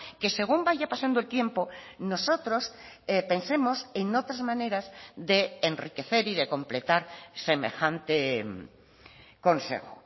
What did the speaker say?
que según vaya pasando el tiempo nosotros pensemos en otras maneras de enriquecer y de completar semejante consejo